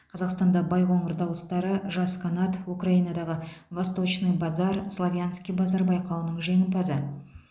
қазақстанда байқоңыр дауыстары жас қанат украинадағы восточный базар славянский базар байқауының жеңімпазы